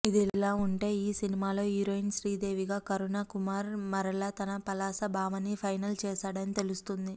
ఇదిలా ఉంటే ఈ సినిమాలో హీరోయిన్ శ్రీదేవిగా కరుణ కుమార్ మరల తన పలాస భామని ఫైనల్ చేశాడని తెలుస్తుంది